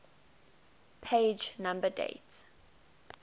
page number date